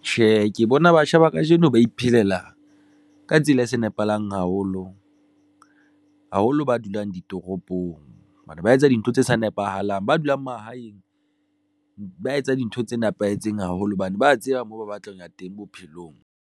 Tjhe, ke bona batjha ba kajeno ba iphelela ka tsela e sa nepahalang haholo, haholo ba dulang ditoropong hobane ba etsa dintho tse sa nepahalang, ba dulang mahaeng ba etsa dintho tse nepahetseng haholo hobane tseba moo ba batlang ho ya teng bophelong.